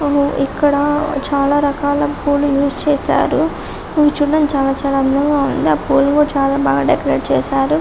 ఇక్కడ చాలా రకాల పూలు యూజ్ చేశారు ఇవి చూడ్డానికి చాలా చాలా అందంగా ఉంది ఆ పూలను కూడా చాలా బాగా డెకరేట్ చేశారు